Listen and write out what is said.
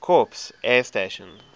corps air station